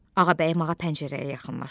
Ağabəyim ağa pəncərəyə yaxınlaşdı.